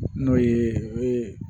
N'o ye